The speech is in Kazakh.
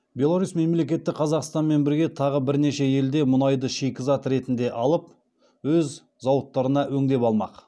беларусь мемлекеті қазақстанмен бірге тағы бірнеше елден мұнайды шикізат ретінде алып өз зауыттарында өңдеп алмақ